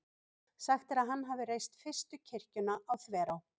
sagt er að hann hafi reist fyrstu kirkjuna á þverá